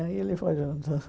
Aí ele foi junto.